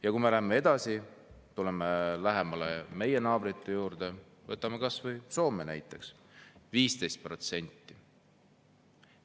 Ja kui me tuleme lähemale, oma naabrite juurde, siis võtame näiteks kas või Soome – 15%.